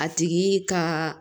A tigi ka